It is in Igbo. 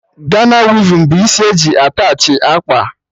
Gana wivin bụ isi eji attachị akpa